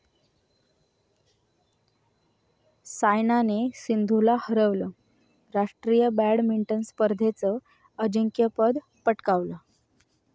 सायनाने सिंधूला हरवलं, राष्ट्रीय बॅडमिंटन स्पर्धेचं अजिंक्यपद पटकावलं